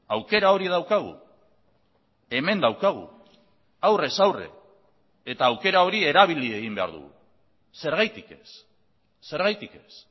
aukera hori daukagu hemen daukagu aurrez aurre eta aukera hori erabili egin behar dugu zergatik ez zergatik ez